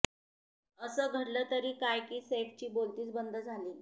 असं घडलं तरी काय की सैफची बोलतीच बंद झाली